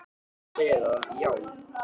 Ég er að segja þér það, já.